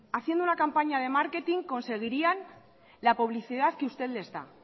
haciendo una campaña de marketing conseguirían la publicidad que usted les da